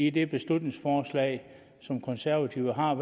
i det beslutningsforslag som konservative har